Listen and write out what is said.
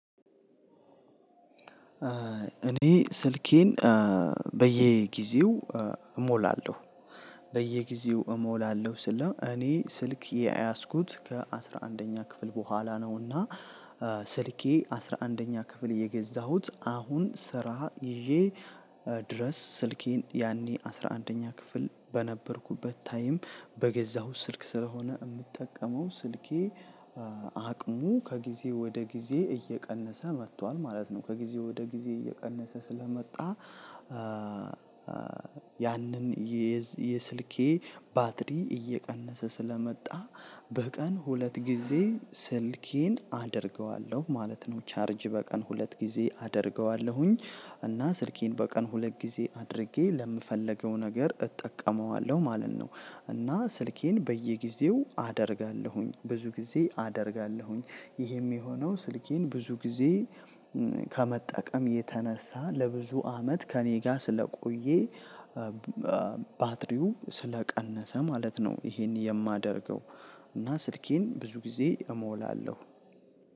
እኔ ስልኬን በየጊዜው እሞላለሁ በየጊዜው እሞላለሁ ስል እኔ ስልክ የያዝኩት ከአስራ አንደኛ ክፍል በኋላ ነውና። ስልኬ አስራ አንደኛ ክፍል የገዛሁት አሁን ስራ ይዤ ድረስ ስልኬን ያኔ አስራ አንደኛ ክፍል በነበርኩበት ታይም በገዛሁት ስልክ ስለሆነ የምጠቀመው ስልኬ። አቅሙ ከጊዜ ወደ ጊዜ እየቀነሰ መጥቷል ማለት ነው። ከጊዜ ወደ ጊዜ እየቀነሰ ስለመጣ። ያንን የስልኬ ባትሪ እየቀነሰ ስለመጣ በቀን ሁለት ጊዜ ስልኬን አደርገዋለሁ ማለት ነው። ቻርጅ በቀን ሁለት ጊዜ አደርገዋለሁኝ እና ስልኬን በቀን ሁለት ጊዜ አድርጌ ለምፈልገው ነገር እጠቀመዋለሁ ማለት ነው። እና ስልኬን በየጊዜው አደርጋለሁኝ ብዙ ጊዜ አደርጋለሁኝ። ይሄም የሆነው ስልኬን ብዙ ጊዜ ከመጠቀም የተነሳ ለብዙ አመት ከእኔ ጋር ስለቆየ ባትሪው ስለቀነሰ ማለት ነው። ይሄን የማደርገው እና ስልኬን ብዙ ጊዜ እሞላለሁ።